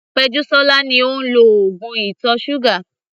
Pejusola ni ó ń lo oògùn ìtọ̀ ṣúgà.